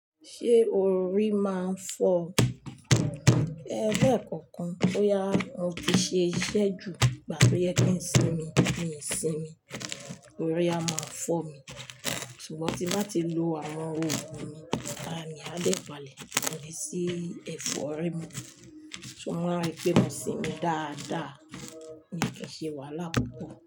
Ṣé orí máa ń fọ́? Ẹ̀rọ ẹ̀kọ̀kan tó ya, mo ti ṣe iṣẹ́ jù, ìgbà tí ẹ́ kún sí mi, mi ò sinmi, orí a máa fọ́ mi, ṣùgbọ́n tí bá ti lo àwọn òògùn mi, ara mi á dẹ́ palẹ̀, mo le sí ẹ̀fọ́ ọ̀rẹ́ mi, ṣùgbọ́n máa ń rí pé ó ń sinmi dáadáa, ó ń ṣe wàhálà púpọ̀